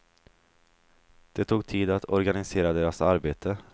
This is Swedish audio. Det tog tid att organisera deras arbete.